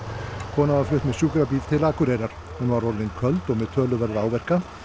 konan var flutt með sjúkrabíl til Akureyrar hún var orðin köld og með töluverða áverka